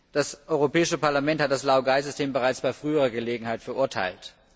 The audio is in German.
Das Europäische Parlament hat das Laogai System bereits bei früherer Gelegenheit verurteilt.